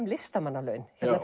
listamannalaun